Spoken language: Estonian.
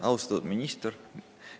Austatud minister!